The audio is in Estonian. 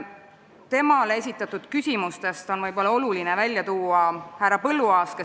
Temale esitatud küsimustest on olulisem välja tuua härra Põlluaasa küsimus.